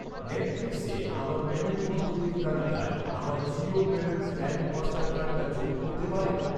নেটফ্লিক্সে আমার পেমেন্ট পদ্ধতির তালিকায় আমার জিও পেমেন্টস ব্যাঙ্ক মাস্টার কার্ডটা যোগ করতে পারেন?